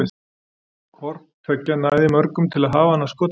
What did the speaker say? Hvort tveggja nægði mörgum til að hafa hana að skotspæni.